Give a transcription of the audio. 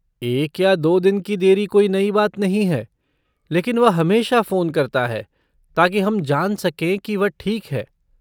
एक या दो दिन की देरी कोई नई बात नहीं है, लेकिन वह हमेशा फ़ोन करता है ताकि हम जान सकें कि वह ठीक है।